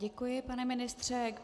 Děkuji, pane ministře.